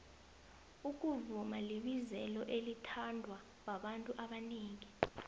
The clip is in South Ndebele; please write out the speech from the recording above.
ukuvuma libizelo elithandwa babantu abanengi